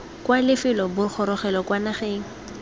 kwa lefelo bogorogelo kwa nageng